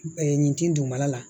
nin tin duguma la la